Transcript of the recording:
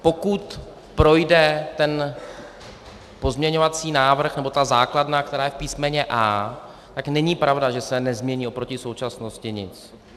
Pokud projde ten pozměňovací návrh nebo ta základna, která je v písmeně A, tak není pravda, že se nezmění proti současnosti nic.